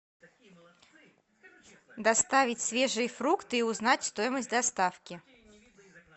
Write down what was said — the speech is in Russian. доставить свежие фрукты и узнать стоимость доставки